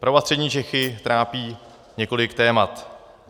Prahu a Střední Čechy trápí několik témat.